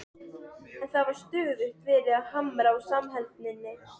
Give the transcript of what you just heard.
En það var stöðugt verið að hamra á samheldninni.